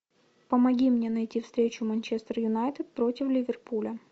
помоги мне найти встречу манчестер юнайтед против ливерпуля